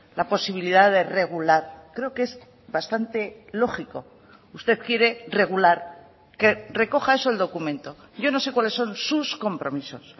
la posibilidad de regular creo que es bastante lógico usted quiere regular que recoja eso el documento yo no sé cuáles son sus compromisos